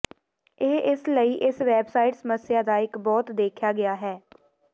ਇਹ ਇਸ ਲਈ ਇਸ ਵੈਬਸਾਈਟ ਸਮੱਸਿਆ ਦਾ ਇੱਕ ਬਹੁਤ ਦੇਖਿਆ ਹੈ